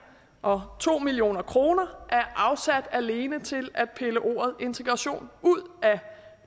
og to million kroner er afsat alene til at pille ordet integration ud af